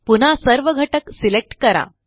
पुन्हा सर्व घटक सिलेक्ट करा